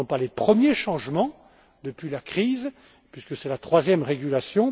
Ce ne sont pas les premiers changements depuis la crise, puisque c'est la troisième régulation.